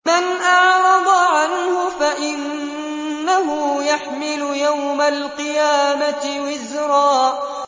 مَّنْ أَعْرَضَ عَنْهُ فَإِنَّهُ يَحْمِلُ يَوْمَ الْقِيَامَةِ وِزْرًا